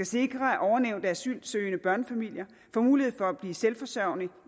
sikre at ovennævnte asylansøgende børnefamilier får mulighed for selvforsørgelse